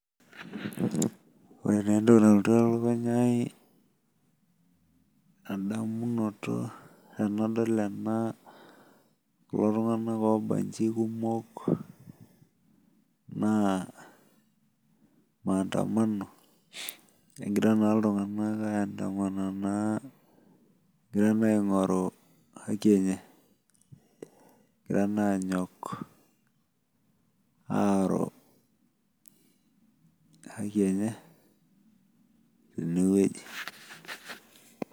Ore taa entoki nalotu elukunya ai endamunoto tenadol ena kulo tung'anak oobanchi kumok naa maandamano egira naa iltung'anak ayandamana naa egira naa aing'oru haki enye, egira naa aanyok aaru haki enye tenewueji